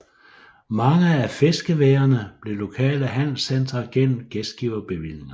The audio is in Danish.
Mange af fiskeværene blev lokale handelscentre gennem gæstgiverbevillinger